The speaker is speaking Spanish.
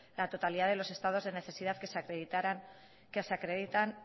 la totalidad de los estados de necesidad que se acreditaran que se acreditan